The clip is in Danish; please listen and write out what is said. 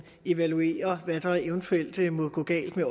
evaluere hvad der eventuelt måtte gå galt med